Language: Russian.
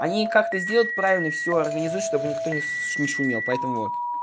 они как-то сделать правильный всё организую чтобы никто не шумел поэтому вот